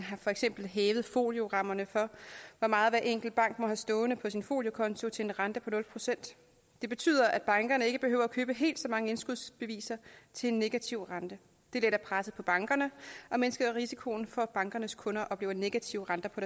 har for eksempel hævet foliorammerne for hvor meget hver enkelt bank må have stående på sin foliokonto til en rente på nul procent det betyder at bankerne ikke behøver at købe helt så mange indskudsbeviser til en negativ rente det letter presset på bankerne og mindsker risikoen for at bankernes kunder oplever negative renter på